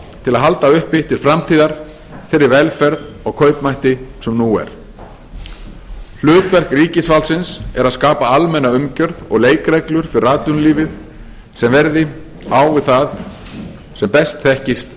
til að halda uppi til framtíðar þeirri velferð og kaupmætti sem nú er hlutverk ríkisvaldsins er að skapa almenna umgjörð og leikreglur fyrir atvinnulífið sem verði á við það besta sem þekkist